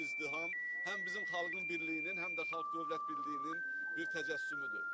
Bu izdiham həm bizim xalqın birliyinin, həm də Xalq-Dövlət birliyinin bir təcəssümüdür.